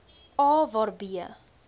a waar b